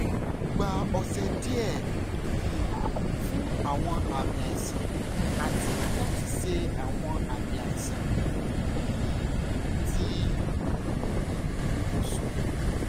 o gba ọsẹ diẹ um fun awọn aami aisan ati lati ṣe awọn aami aisan um ti um ibusun